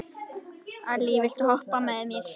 Allý, viltu hoppa með mér?